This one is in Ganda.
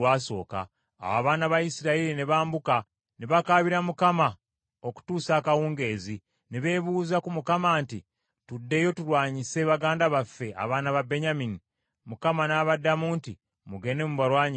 Awo abaana ba Isirayiri ne bambuka ne bakaabira Mukama okutuusa akawungeezi. Ne beebuuza ku Mukama nti, “Tuddeyo tulwanyise baganda baffe abaana ba Benyamini?” Mukama n’abaddamu nti, “Mugende mubalwanyise.”